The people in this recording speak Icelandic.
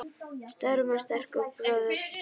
Stórum og sterkum bróður.